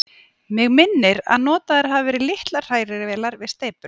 Mig minnir, að notaðar hafi verið litlar hrærivélar við steypuna.